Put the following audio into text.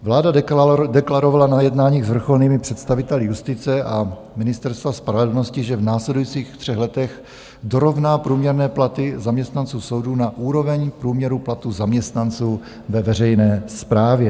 Vláda deklarovala na jednání s vrcholnými představiteli justice a Ministerstva spravedlnosti, že v následujících třech letech dorovná průměrné platy zaměstnanců soudů na úroveň průměru platů zaměstnanců ve veřejné správě.